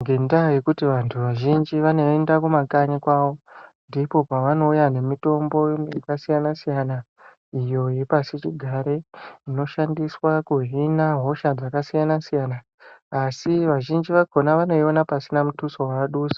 Ndoendaa yekuti vantu vazhinji vanoenda kumakanyi kwavo, Ndikwo kwavanouya nemitombo yakasiyana-siyana ,iyo yepasichigare, inoshandiswa kuhina hosha dzakasiyana-siyana, asi vazhiinji vakhona vanoiona pasina muthuso wavadusa.